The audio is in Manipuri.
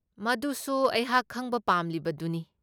ꯃꯗꯨꯁꯨ ꯑꯩꯍꯥꯛ ꯈꯪꯕ ꯄꯥꯝꯂꯤꯕꯗꯨꯅꯤ꯫